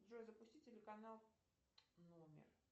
джой запусти телеканал номер